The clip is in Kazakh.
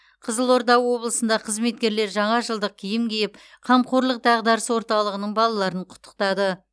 қызылорда облысында қызметкерлер жаңа жылдық киім киіп қамқорлық дағдарыс орталығының балаларын құттықтады